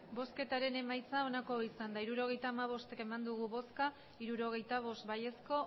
emandako botoak hirurogeita hamabost bai hirurogeita bost ez